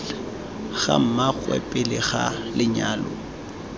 ga mmaagwe pele ga lenyalo